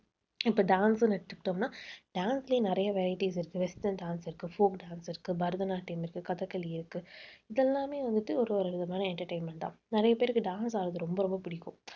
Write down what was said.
இப்ப dance ன்னு எடுத்துக்கிட்டோம்ன்னா dance லயே நிறைய varieties இருக்கு. western dance இருக்கு. folk dance இருக்கு, பரதநாட்டியம் இருக்கு, கதக்களி இருக்கு. இதெல்லாமே வந்துட்டு ஒரு ஒரு விதமான entertainment தான். நிறைய பேருக்கு dance ஆடுறது ரொம்ப ரொம்ப பிடிக்கும்.